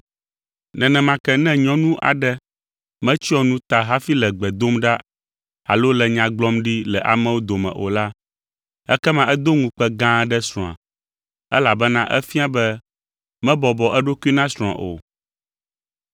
Nenema ke ne nyɔnu aɖe metsyɔ nu ta hafi le gbe dom ɖa alo le nya gblɔm ɖi le amewo dome o la, ekema edo ŋukpe gã aɖe srɔ̃a, elabena efia be mebɔbɔ eɖokui na srɔ̃a o.